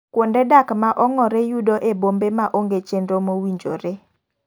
Kunde dak ma ong'ore yudo e bombe ma onge chenro mowinjore.